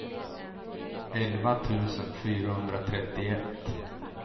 elva tusen fyrahundratrettioett